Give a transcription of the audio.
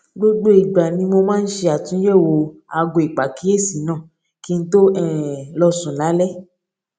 gbogbo ìgbà ni mo máa ń ṣe àtúnyèwò aago ìpàkíyèsí náà kí n tó um lọ sùn lálé